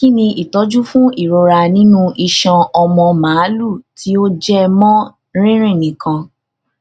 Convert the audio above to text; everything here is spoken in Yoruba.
kí ni ìtọjú fún irora nínú iṣan ọmọ màlúù tí ó jẹ mọ rírìn nìkan